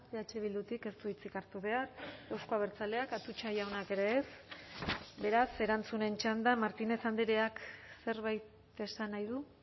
eh bildutik ez du hitzik hartu behar euzko abertzaleak atutxa jaunak ere ez beraz erantzunen txanda martínez andreak zerbait esan nahi du